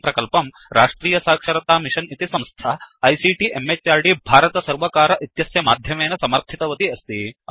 इमं प्रकल्पं राष्ट्रियसाक्षरतामिषन् इति संस्था आईसीटी म्हृद् भारतसर्वकार इत्यस्य माध्यमेन समर्थितवती अस्ति